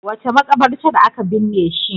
Wace maƙabarta aka binne shi?